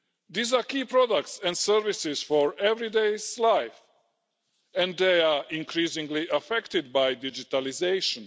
These are key products and services for everyday life and they are increasingly affected by digitalisation.